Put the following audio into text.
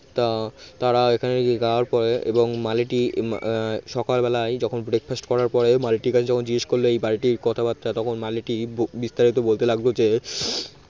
তা তারা এখানে যাওয়ার পরে এবং মালিটি সকালবেলায় যখন breakfast করার পরে মালিটির কাছে যখন জিজ্ঞেস করল এই বাড়িটির কথাবার্তা তখন মালিটি বিস্তারিত বলতে লাগলো যে